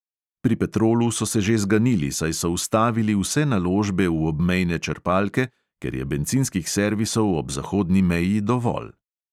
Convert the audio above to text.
Pri petrolu so se že zganili, saj so ustavili vse naložbe v obmejne črpalke, ker je bencinskih servisov ob zahodni meji dovolj.